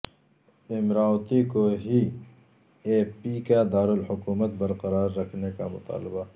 امراوتی کو ہی A P کا دارالحکومت برقرار رکھنے کامطالبہ